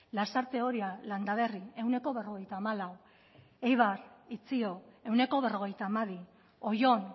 lasarte oria landaberri ehuneko berrogeita hamalau eibar itzio ehuneko berrogeita hamabi oion